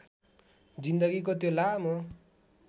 जिन्दगीको त्यो लामो